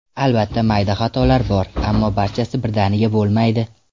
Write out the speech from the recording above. Albatta mayda xatolar bor, ammo barchasi birdaniga bo‘lmaydi.